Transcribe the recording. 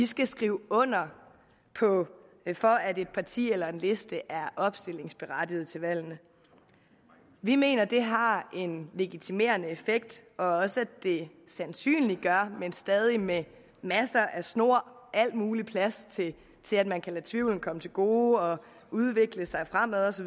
skal skrive under for at et parti eller en liste er opstillingsberettiget til valget vi mener at det har en legitimerende effekt og også at det sandsynliggør men stadig med masser af snor og al mulig plads til at man kan lade tvivlen komme til gode og at udvikle sig fremad